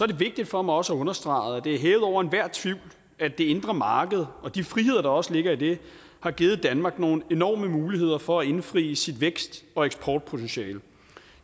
det vigtigt for mig også at understrege at det er hævet over enhver tvivl at det indre marked og de friheder der også ligger i det har givet danmark nogle enorme muligheder for at indfri sit vækst og eksportpotentiale